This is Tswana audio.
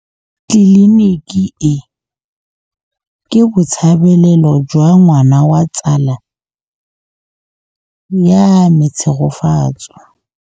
Tleliniki e, ke botsalêlô jwa ngwana wa tsala ya me Tshegofatso.